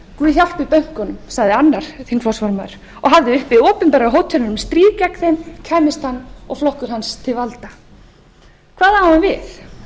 guð hjálpi bönkunum sagði annar þingflokksformaður og hafði uppi opinberar hótanir um stríð gegn þeim kæmist hann og flokkur hans til valda hvað á hann við